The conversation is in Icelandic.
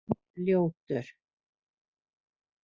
Ljótur